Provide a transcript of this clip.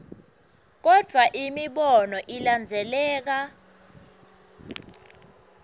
kodvwa imibono ilandzeleka